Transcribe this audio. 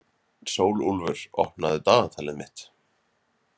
Sólúlfur, opnaðu dagatalið mitt.